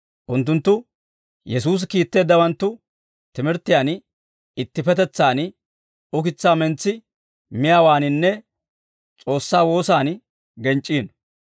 Unttunttu Yesuusi kiitteeddawanttu timirttiyaan, ittippetetsaan ukitsaa mentsi miyaawaaninne S'oossaa woosan genc'c'iino.